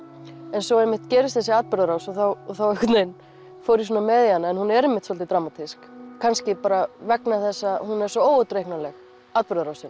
en svo einmitt gerist þessi atburðarás og þá þá einhvern veginn fór ég svona með í hana en hún er einmitt svolítið dramatísk kannski vegna þess að hún er svo óútreiknanleg atburðarásin